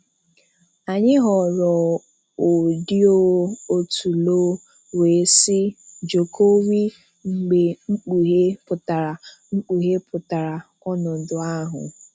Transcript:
Anyị ghọrọ òdíðò otú loh, “wee sị Jokowi mgbe Kpùghèe pụtara Kpùghèe pụtara ọnọdụ ahụ.